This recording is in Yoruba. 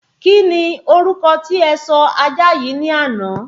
Kíni orúkọ tí ẹ sọ ajá yìí ni àná?